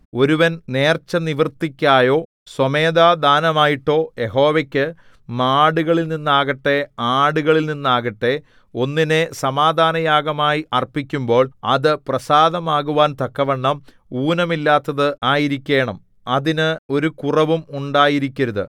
ഒരുവൻ നേർച്ചനിവൃത്തിക്കായോ സ്വമേധാദാനമായിട്ടോ യഹോവയ്ക്കു മാടുകളിൽനിന്നാകട്ടെ ആടുകളിൽനിന്നാകട്ടെ ഒന്നിനെ സമാധാനയാഗമായി അർപ്പിക്കുമ്പോൾ അത് പ്രസാദമാകുവാൻ തക്കവണ്ണം ഊനമില്ലാത്തത് ആയിരിക്കേണം അതിന് ഒരു കുറവും ഉണ്ടായിരിക്കരുത്